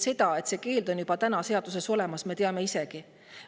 Seda, et see keeld on seaduses olemas, teame me isegi.